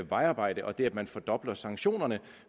vejarbejde og det at man fordobler sanktionerne